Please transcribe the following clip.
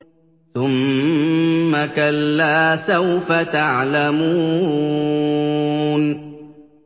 ثُمَّ كَلَّا سَوْفَ تَعْلَمُونَ